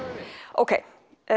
ókei